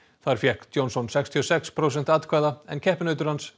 þar fékk Johnson sextíu og sex prósent atkvæða en keppinautur hans